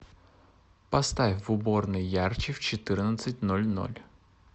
поставь в уборной ярче в четырнадцать ноль ноль